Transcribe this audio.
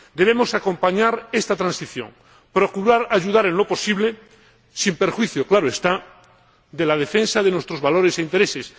Debemos acompañar esta transición, procurar ayudar en lo posible sin perjuicio, claro está, de la defensa de nuestros valores e intereses.